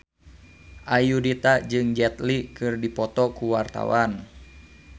Ayudhita jeung Jet Li keur dipoto ku wartawan